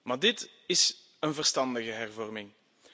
Maar dit is een verstandige hervorming.